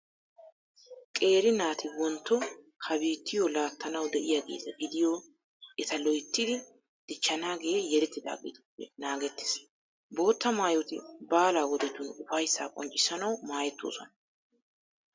Qeeri naati wontto ha biittiyo laattanawu de'iyageeta gidiyo eta loyttidi dichchanaagee yelidaageetuppe naagettees. Bootta maayoti baala wodetun ufayssa qonccisanawu maayettoosona.